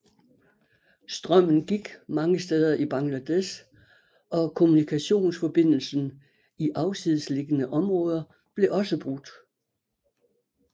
Strømmen gik mange steder i Bangladesh og kommunikationsforbindelsen i afsidesliggende områder blev også brudt